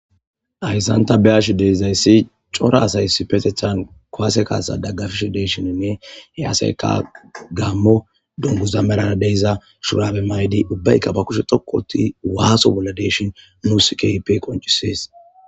Ayssanta beashi deidzayssi cora asaysi petethan koase kaasa daggafish deeshininne hey aseyka gaammo donguza merana deyza shurabe maydi ubbaykka ba kushe thokkoti waaso bolla deeshin musikeipe qoncisees.